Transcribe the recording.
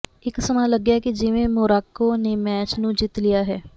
ਇਕ ਸਮਾਂ ਲੱਗਿਆ ਕਿ ਜਿਵੇਂ ਮੋਰਾਕੋ ਨੇ ਮੈਚ ਨੂੰ ਜਿੱਤ ਲਿਆ ਹੈ